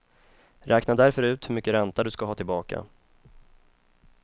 Räkna därför ut hur mycket ränta du ska ha tillbaka.